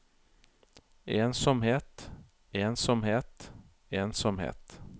ensomhet ensomhet ensomhet